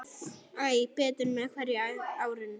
Æ betur með hverju ári.